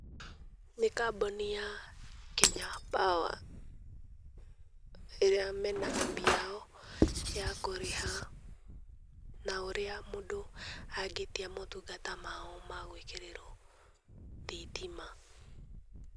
Nĩ kambũni ya kenya power ĩrĩa mena appu yao ya kũrĩha na ũrĩa mũndũ angĩtia motungata mao ma gwĩkĩrĩrwo thitima.